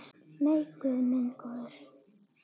Nei, guð minn góður.